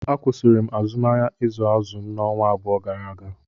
A kwụsịrị m azụmahịa ịzụ azụ m ọnwa abụọ gara aga